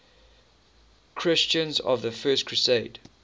christians of the first crusade